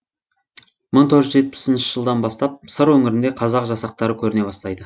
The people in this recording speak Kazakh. мың төрт жүз жетпісінші жылдан бастап сыр өңірінде қазақ жасақтары көріне бастайды